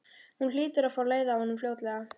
Hún hlýtur að fá leið á honum fljótlega.